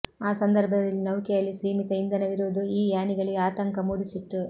ಆ ಸಂದರ್ಭದಲ್ಲಿ ನೌಕೆಯಲ್ಲಿ ಸೀಮಿತ ಇಂಧನವಿರುವುದು ಈ ಯಾನಿಗಳಿಗೆ ಆತಂಕ ಮೂಡಿಸಿತ್ತು